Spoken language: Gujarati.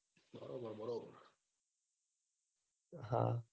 હ